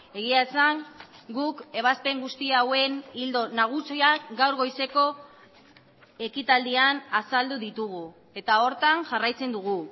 egia esan guk ebazpen guzti hauen ildo nagusiak gaur goizeko ekitaldian azaldu ditugu eta horretan jarraitzen dugu